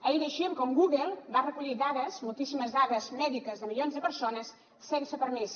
ahir llegíem com google va recollir dades moltíssimes dades mèdiques de milions de persones sense permís